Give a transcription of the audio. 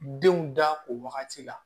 Denw da o wagati la